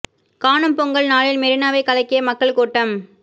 காணும் பொங்கல் நாளில் மெரினாவை கலக்கிய மக்கள் கூட்டம்